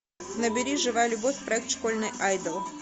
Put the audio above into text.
набери живая любовь проект школьный идол